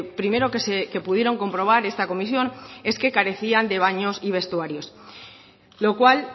primero que pudieron comprobar esta comisión es que carecían de baños y vestuarios lo cual